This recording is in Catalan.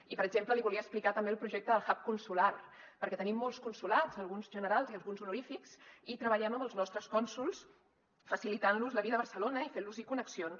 i per exemple li volia explicar també el projecte del hub consular perquè tenim molts consolats alguns generals i alguns honorífics i treballem amb els nostres cònsols facilitant los la vida a barcelona i fent los hi connexions